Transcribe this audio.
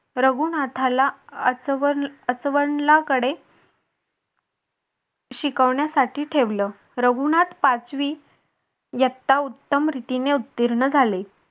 रघुनाथाला कडे शिकवण्यासाठी ठेवलं रघुनाथ पाचवी इयत्ता उत्तम रीतीने उत्तीर्ण झाले.